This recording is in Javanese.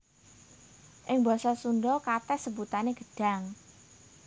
Ing basa Sundha katès sebutané gedhang